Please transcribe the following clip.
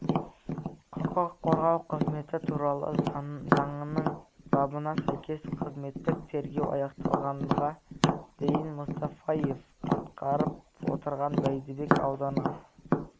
құқық қорғау қызметі туралы заңының бабына сәйкес қызметтік тергеу аяқталғанға дейін мұстафаев атқарып отырған бәйдібек ауданы